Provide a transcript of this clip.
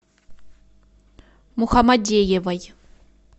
мухамадеевой